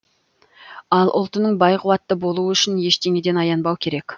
ал ұлтының бай қуатты болуы үшін ештеңеден аянбау керек